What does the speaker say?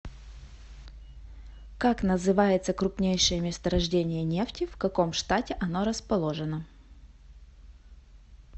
как называется крупнейшее месторождение нефти в каком штате оно расположено